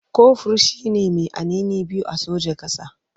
Kofur shi ne mai anini biyu a sojan ƙasa.